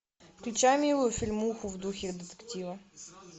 включай милую фильмуху в духе детектива